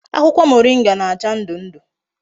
Akwukwo moringa na-acha ndu ndu